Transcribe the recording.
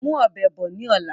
Mú ọ̀bẹ bọ̀ ni ọ̀la!